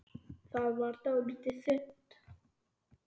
Það varð dálítið þunnt.